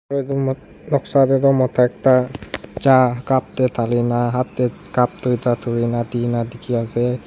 Ro etu nogsa tey tu mota ekta cha cup te thalena hat tey cup tuita thurena dena dekhe ase.